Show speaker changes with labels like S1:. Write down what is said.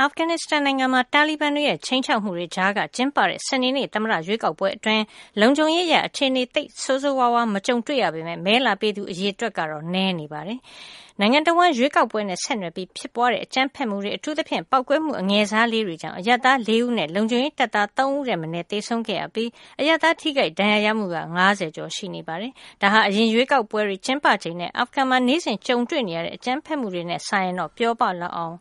S1: အာဖဂန်နစ္စတန်နိုင်ငံမှာ တာလီဘန်တွေရဲ့ ခြိမ်းခြောက်မှုတွေကြားက ကျင်းပတဲ့ စနေနေ့ သမ္မတရွေးကောက်ပွဲအတွင်း လုံခြုံရေးအရ အခြေအနေ သိပ်ဆိုးဆိုးဝါးဝါး မကြုံတွေ့ရပေမယ့် မဲလာပေးသူ အရေအတွက်ကတော့ နည်းနေတာ တွေ့ရပါတယ်။ နိုင်ငံတဝှမ်း ရွေးကောက်ပွဲနဲ့ဆက်နွှယ်ပြီး ဖြစ်ပွားတဲ့ အကြမ်းဖက်မှုတွေ အထူးသဖြင့် ပေါက်ကွဲမှု အငယ်စားလေးတွေကြောင့် အရပ်သား ၄ ဦးနဲ့ လုံခြုံရေးတပ်သား ၃ ဦးထက်မနည်း သေဆုံးခဲ့ရပြီး အရပ်သား ထိခိုက်ဒဏ်ရာရမှုက ၅၀ ကျော် ရှိပါတယ်။ ဒါဟာ အရင်ရွေးကောက်ပွဲတွေ ကျင်းပချိန်နဲ့ အာဖဂန်မှာ နေ့စဉ်ကြုံတွေ့နေရတဲ့ အကြမ်းဖက်မှုတွေနဲ့ စာရင်တော့ ပြောပလောက်အောင်